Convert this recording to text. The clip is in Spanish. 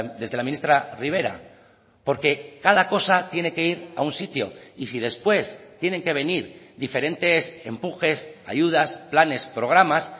desde la ministra rivera porque cada cosa tiene que ir a un sitio y si después tienen que venir diferentes empujes ayudas planes programas